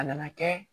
A nana kɛ